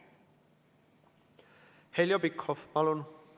Heljo Pikhof, palun!